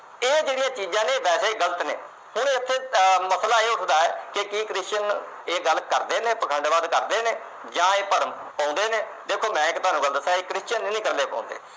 ਇਹ ਜਿਹੜੀਆਂ ਚੀਜਾਂ ਨੇ ਵੈਸੇ ਗਲਤ ਨੇ। ਹੁਣ ਉਥੇ ਮਸਲਾ ਇਹ ਉੱਠਦਾ ਕਿ Christian ਇਹ ਗੱਲ ਕਰਦੇ ਨੇ, ਇਹ ਪਾਖੰਡਵਾਦ ਕਰਦੇ ਨੇ ਜਾਂ ਇਹ ਭਰਮ ਪਾਉਂਦੇ ਨੇ। ਦੇਖੋ ਮੈਂ ਤੁਹਾਨੂੰ ਇੱਕ ਗੱਲ ਦੱਸਾ, ਇਹ Christian ਨਹੀਂ ਕਰਦੇ ਪਾਉਂਦੇ। ਇਹ ਜਿਹੜੀਆਂ ਚੀਜਾਂ ਨੇ ਵੈਸੇ ਗਲਤ ਨੇ